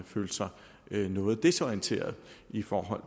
følte sig noget desorienteret i forhold